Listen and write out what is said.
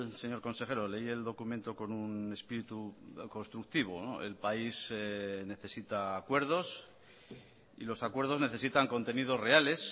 señor consejero leí el documento con un espíritu constructivo el país necesita acuerdos y los acuerdos necesitan contenidos reales